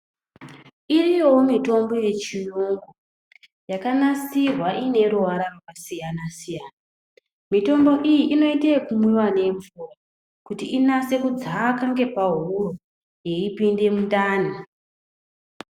Iyowo mitombo yechiyungu yakanasirwa ine ruvara rwakasiyana siyana. Mitombo iyi inoita yekumwiwa nemvura kuti inase kudzaka ngepahuro yeipinda mundani.